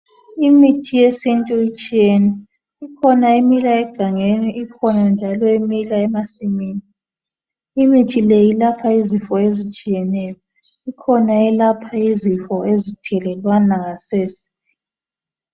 Imithi yesintu itshiyene ikhona emila egangeni ikhona njalo emila emasimini imithi le ilapha izifo ezitshiyeneyo kukhona eyelapha izifo ezithelwana ngasese.